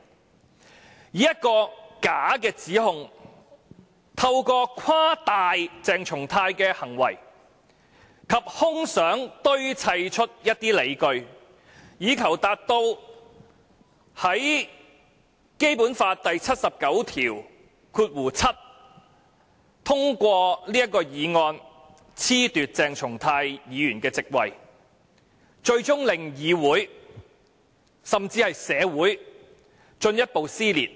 他以一個假的指控，透過誇大鄭松泰議員的行為，以他的空想堆砌出一些理據，以求根據《基本法》第七十九條第七項通過議案，褫奪鄭松泰議員的席位，最終令議會甚至社會進一步撕裂。